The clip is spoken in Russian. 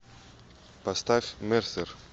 поставь мерсер